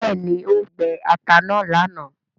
béèni o gbé atá náa lànà.